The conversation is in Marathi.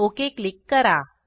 ओक क्लिक करा